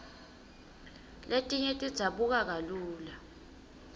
letinye tidzabuka kalula